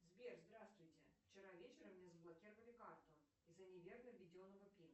сбер здравствуйте вчера вечером мне заблокировали карту из за неверно введенного пин